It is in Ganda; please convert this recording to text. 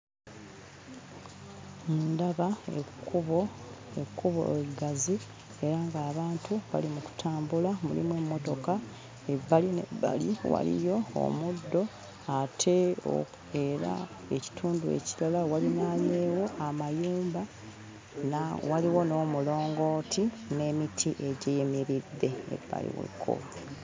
Ndaba ekkubo ekkubo eggazi era ng'abantu bali mu kutambula, mulimu emmotoka ebbali n'ebbali waliyo omuddo ate era ekitundu ekirala walinaanyeewo amayumba era waliwo n'omulongooti n'emiti egiyimiridde ebbali w'ekkubo.